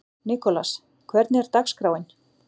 Nikolas, hvernig er dagskráin?